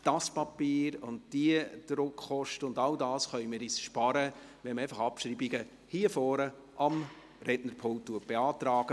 Dieses Papier, diese Druckkosten und all das können wir uns sparen, wenn man Abschreibungen hier vorn am Rednerpult beantragt.